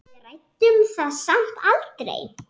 Við ræddum það samt aldrei.